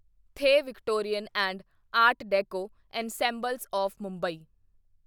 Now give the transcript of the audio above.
the Victorian and art deco ensemble of Mumbai